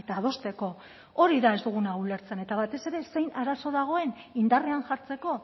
adosteko hori da ez duguna ulertzen eta batez ere zein arazo dagoen indarrean jartzeko